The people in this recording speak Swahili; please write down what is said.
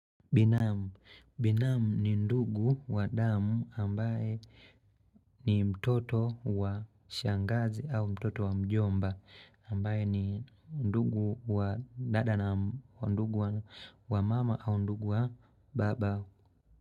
Binamu, binamu ni ndugu wa damu ambaye ni mtoto wa shangazi au mtoto wa mjomba ambaye ni ndugu wa dada na ndugu wa mama au ndugu wa baba.